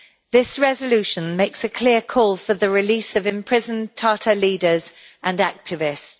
This resolution makes a clear call for the release of imprisoned Tatar leaders and activists.